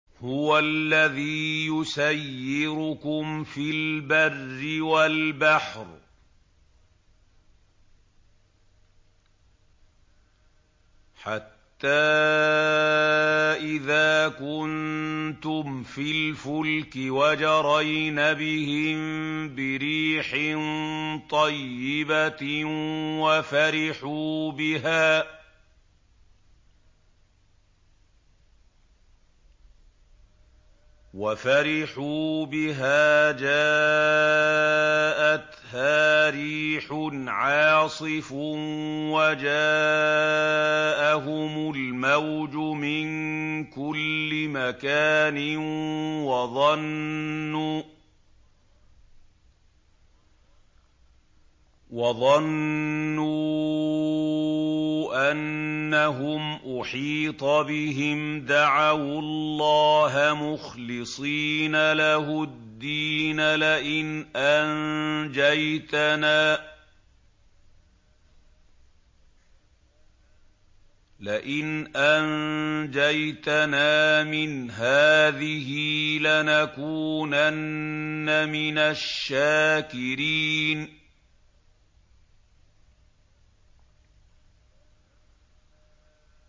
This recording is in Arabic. هُوَ الَّذِي يُسَيِّرُكُمْ فِي الْبَرِّ وَالْبَحْرِ ۖ حَتَّىٰ إِذَا كُنتُمْ فِي الْفُلْكِ وَجَرَيْنَ بِهِم بِرِيحٍ طَيِّبَةٍ وَفَرِحُوا بِهَا جَاءَتْهَا رِيحٌ عَاصِفٌ وَجَاءَهُمُ الْمَوْجُ مِن كُلِّ مَكَانٍ وَظَنُّوا أَنَّهُمْ أُحِيطَ بِهِمْ ۙ دَعَوُا اللَّهَ مُخْلِصِينَ لَهُ الدِّينَ لَئِنْ أَنجَيْتَنَا مِنْ هَٰذِهِ لَنَكُونَنَّ مِنَ الشَّاكِرِينَ